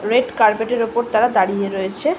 Red carpet এর উপর তারা দাঁড়িয়ে রয়েছে।